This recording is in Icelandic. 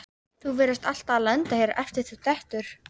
Þú virðist alltaf lenda hér eftir að þú dettur.